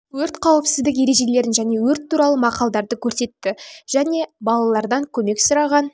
жануарларды құтқарды өрт қауіпсіздік ережелерін және өрт туралы мақалдарды көрсетті және айтты балалардан көмек сұраған